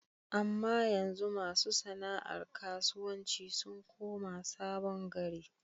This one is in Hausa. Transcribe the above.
Amma yanzu ma su sana'ar karuwanci sun koma Sabon gari.